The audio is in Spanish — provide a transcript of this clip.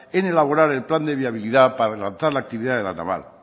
en elaborar el plan de viabilidad para lanzar la actividad de la naval